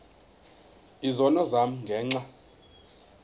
izono zam ngenxa